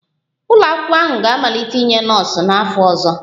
Ụlọ akwụkwọ ahụ ga-amalite inye nọọsụ n'afọ ọzọ